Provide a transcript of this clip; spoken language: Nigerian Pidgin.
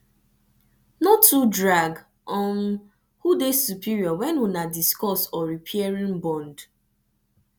no too drag um who dey superior when una discuss or repairing bond